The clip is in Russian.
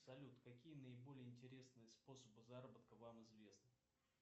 салют какие наиболее интересные способы заработка вам известны